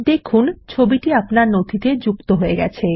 দেখুন ছবিটি আপনার নথিতে যুক্ত হয়ে গেছে